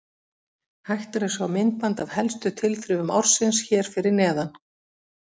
Hægt er að sjá myndband af helstu tilþrifum ársins hér fyrir neðan.